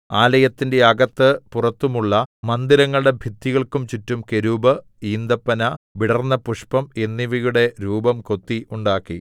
ആലയത്തിന്റെ അകത്ത് പുറത്തുമുള്ള മന്ദിരങ്ങളുടെ ഭിത്തികൾക്കു ചുറ്റും കെരൂബ് ഈന്തപ്പന വിടർന്നപുഷ്പം എന്നിവയുടെ രൂപം കൊത്തി ഉണ്ടാക്കി